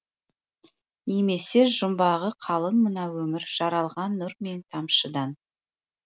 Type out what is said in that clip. немесежұмбағы қалың мына өмір жаралған нұр мен тамшыдан